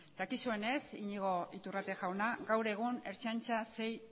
dakizunez iñigo iturrate jauna gaur egun ertzaintzan sei